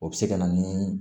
O bɛ se ka na ni